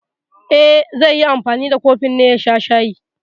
E, zai yi anfani da kofin ne ya sha shayi.